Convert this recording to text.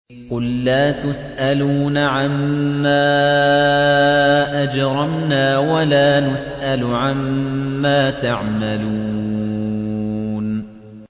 قُل لَّا تُسْأَلُونَ عَمَّا أَجْرَمْنَا وَلَا نُسْأَلُ عَمَّا تَعْمَلُونَ